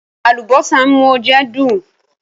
Àlùbósà ń mú oúnjẹ dùn.